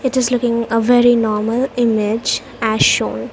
it is looking a very normal image as shown .